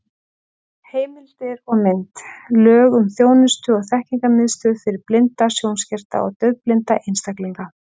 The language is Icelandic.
Heimildir og mynd: Lög um þjónustu- og þekkingarmiðstöð fyrir blinda, sjónskerta og daufblinda einstaklinga.